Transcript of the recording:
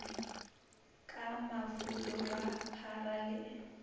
ka mafula ba phara le